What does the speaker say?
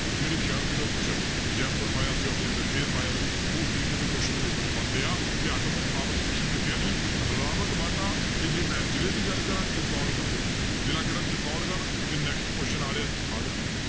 ਕਿਹੜੇ ਸ਼ਹਿਰ ਵਿੱਚ ਉਹ ਪੁੱਛਿਆ ਸੀ ਜੈਪੁਰ ਪਾਇਆ ਸੀ option 'ਚ ਅਜ਼ਮੇਰ ਪਾਇਆ ਸੀ ਉਸ ਤਰੀਕੇ ਦੇ question paper 'ਚ ਪਾਉਂਦੇ ਆ, ਤੇ atomic power station ਕਿੱਥੇ ਹੈ ਜੀ ਰਾਵਤਬਾਟਾ ਤੇ ਜੇ ਮੈਂ ਜ਼ਿਲ੍ਹੇ ਦੀ ਗੱਲ ਕਰਾਂ ਚਿਤੋੜਗੜ੍ਹ ਦੇ ਵਿੱਚ ਜ਼ਿਲ੍ਹਾ ਕਿਹੜਾ ਚਿਤੋੜਗੜ੍ਹ ਤੇ next question ਆ ਰਿਹਾ ਜੀ ਆਹ ਲਓ ਭਾਈ